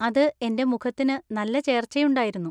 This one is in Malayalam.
അത് എൻ്റെ മുഖത്തിന് നല്ല ചേർച്ചയുണ്ടായിരുന്നു